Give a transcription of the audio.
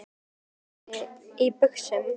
Nei, stelpur ganga ekki í buxum.